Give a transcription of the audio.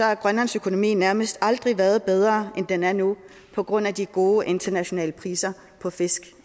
har grønlands økonomi nærmest aldrig været bedre end den har nu på grund af de gode internationale priser på fisk